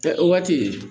Ɛɛ o waati